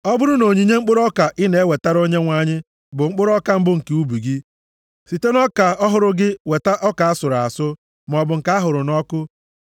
“ ‘Ọ bụrụ na onyinye mkpụrụ ọka ị na-ewetara Onyenwe anyị bụ mkpụrụ mbụ nke ubi gị, site nʼọka ọhụrụ gị weta ọka a sụrụ asụ, maọbụ nke a hụrụ nʼọkụ.